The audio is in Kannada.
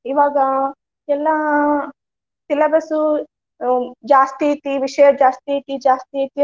ಇವಾಗ ಎಲ್ಲಾ syllabus ಉ ಹ್ಮ್ ಜಾಸ್ತಿ ಐತಿ, ವಿಷಯ ಜಾಸ್ತಿ ಐತಿ ಜಾಸ್ತಿ ಐತಿ.